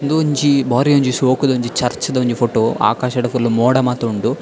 ಉಂದೊಂಜಿ ಬಾರಿ ಒಂಜಿ ಶೋಕುದ ಒಂಜಿ ಚರ್ಚ್ ದ ಫೊಟೊ ಆಕಾಶಡ್ ಫುಲ್ಲ್ ಮೋಡ ಮಾತ ಉಂಡು.